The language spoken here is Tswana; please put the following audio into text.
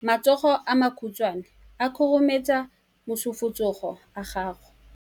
matsogo a makhutshwane a khurumetsa masufutsogo a gago